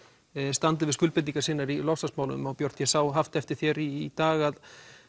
standi við skuldbindingar sínar í loftslagsmálum og Björt ég sá haft eftir þér í dag að